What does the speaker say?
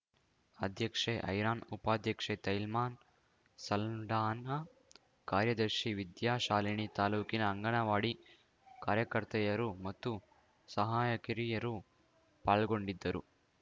ಅಧ್ಯಕ್ಷೆ ಐರಾನ್‌ ಉಪಾಧ್ಯಕ್ಷೆ ತೈಲ್ಮಾ ಸಲ್ಡಾನಾ ಕಾರ್ಯದರ್ಶಿ ವಿದ್ಯಾಶಾಲಿನಿ ತಾಲೂಕಿನ ಅಂಗನವಾಡಿ ಕಾರ್ಯಕರ್ತೆಯರು ಮತ್ತು ಸಹಾಯಕಿರುಯರು ಪಾಲ್ಗೊಂಡಿದ್ದರು